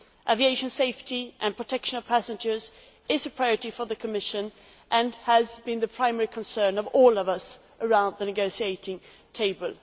Aviation safety and protection of passengers is a priority for the Commission and has been the primary concern of all of us around the negotiating table.